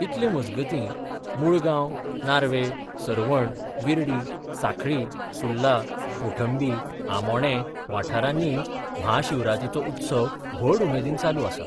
इतले मजगतीं, मुळगांव, नार्वे, सर्वण, विर्डी, सांखळी, सुर्ला, कोंठबी, आमोणें वाठारांनीय म्हाशिवरातीचो उत्सव व्हड उमेदीन चालू आसा.